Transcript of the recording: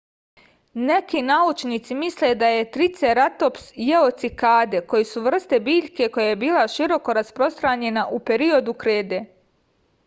neki naučnici misle da je triceratops jeo cikade koji su vrsta biljke koja je bila široko rasprostranjena u periodu krede